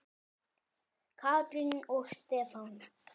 Katrín og Stefán.